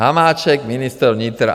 Hamáček, ministr vnitra.